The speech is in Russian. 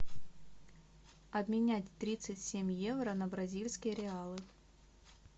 обменять тридцать семь евро на бразильские реалы